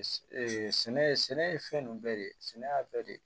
sɛnɛ ye fɛn nunnu de ye sɛnɛ y'a bɛɛ de ye